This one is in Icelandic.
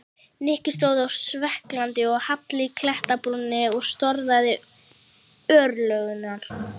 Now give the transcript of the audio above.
Nikki stóð á svellkaldri og hálli klettabrúninni og storkaði örlögunum.